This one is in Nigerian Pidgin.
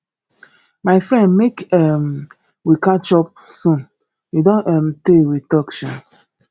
my friend make um we catch up soon e don um tay we talk sha